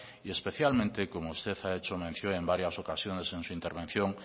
y especialmente como usted ha hecho mención en varias ocasiones en su intervención